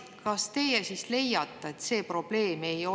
Kas teie siis leiate, et see ei ole probleem?